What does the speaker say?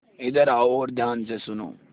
इधर आओ और ध्यान से सुनो